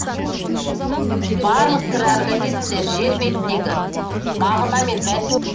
барлық тірі организмдер жер бетіндегі мағына мен